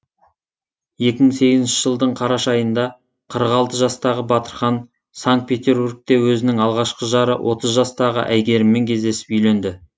екі мың сегізінші жылдың қараша айында қырық алты жастағы батырхан санкт петербургте өзінің алғашқы жары отыз жастағы әйгеріммен кездесіп үйленді